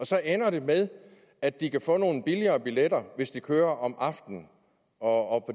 så ender med at de kan få nogle billigere billetter hvis de kører om aftenen og